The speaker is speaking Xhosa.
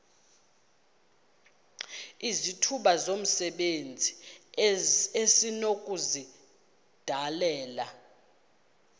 izithuba zomsebenzi esinokuzidalela